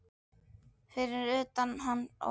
Fyrir utan hann og